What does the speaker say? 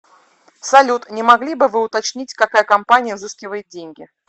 салют не могли бы вы уточнить какая компания взыскивает деньги